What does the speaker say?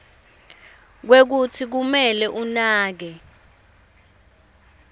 kwekutsi kumele anake